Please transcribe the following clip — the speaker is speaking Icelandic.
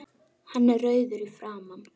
Hann er rauður í framan.